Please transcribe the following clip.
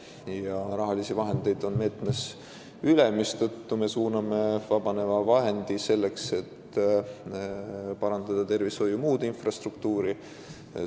Ja meetmes on ka raha üle, mistõttu me suuname vabaneva vahendi muu tervishoiu infrastruktuuri parandamisse.